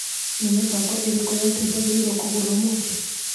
Nĩ mĩbango ĩrĩko ya indo njagĩrĩirwo kũgũra ũmũthĩ.